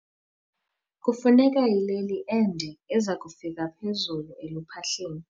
Kufuneka ileli ende eza kufika phezulu eluphahleni.